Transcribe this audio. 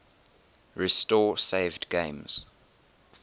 restore saved games